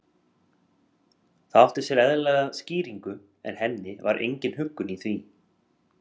Það átti sér eðlilega skýringu en henni var engin huggun í því.